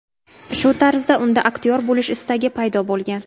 Shu tarzda unda aktyor bo‘lish istagi paydo bo‘lgan.